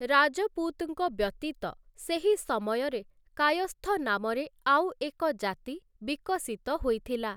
ରାଜପୁତ୍‌ଙ୍କ ବ୍ୟତୀତ ସେହି ସମୟରେ କାୟସ୍ଥ ନାମରେ ଆଉଏକ ଜାତି ବିକଶିତ ହୋଇଥିଲା ।